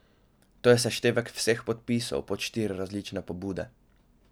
To je seštevek vseh podpisov pod štiri različne pobude.